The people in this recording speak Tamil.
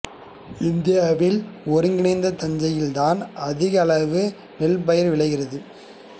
தமிழ்நாட்டில் ஒருங்கிணைந்த தஞ்சையில் தான் அதிக அளவில் நெல் பயிர் விளைகிறது